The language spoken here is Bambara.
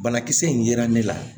Banakisɛ in yera ne la